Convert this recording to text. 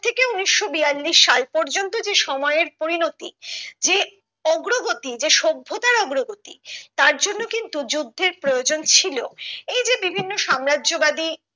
ঊনিশশো বিয়াল্লিশ সাল পর্যন্ত যে সময়ের পরিণতি যে অগ্রগতি যে সভ্যতার অগ্রগতি তার জন্য কিন্তু যুদ্ধের প্রয়োজন ছিলো এই যে বিভিন্ন সাম্রাজ্যবাদী